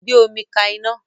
Gbé omi ka iná